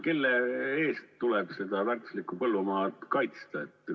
Kelle eest tuleb seda väärtuslikku põllumaad kaitsta?